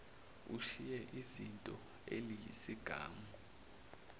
ushiye izinyo eliyisigamu